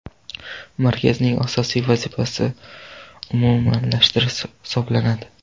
Markazning asosiy vazifasi umumlashtirish hisoblanadi.